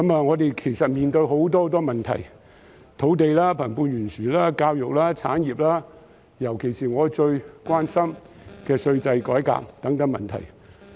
我們其實面對很多問題：土地、貧富懸殊、教育、產業，以及尤其是我最關心的稅制改革等問題。